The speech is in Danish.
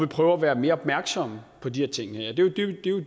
prøver at være mere opmærksomme på de her ting det er jo